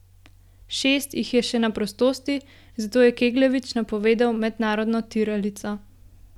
Šest jih je še na prostosti, zato je Kegljevič napovedal mednarodno tiralico.